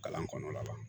Kalan kɔnɔ la wa